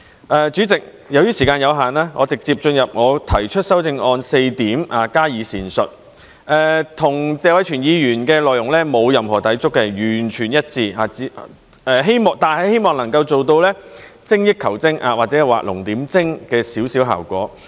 代理主席，由於時間有限，我直接進入我提出的修正案的4點加以闡述，與謝偉銓議員的內容沒有任何抵觸，是完全一致的，但希望能夠做到一點精益求精，或者畫龍點睛的效果。